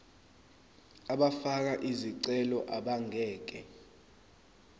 abafake izicelo abangeke